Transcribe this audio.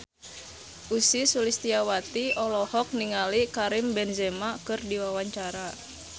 Ussy Sulistyawati olohok ningali Karim Benzema keur diwawancara